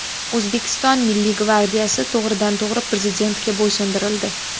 O‘zbekiston Milliy gvardiyasi to‘g‘ridan to‘g‘ri Prezidentga bo‘ysundirildi.